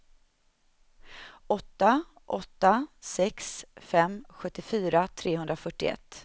åtta åtta sex fem sjuttiofyra trehundrafyrtioett